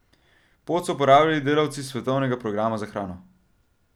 Pot so uporabljali delavci Svetovnega programa za hrano.